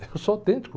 Eu sou autêntico.